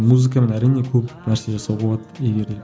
музыкамен әрине көп нәрсе жасауға болады егер де